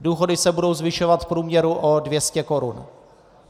Důchody se budou zvyšovat v průměru o 200 korun.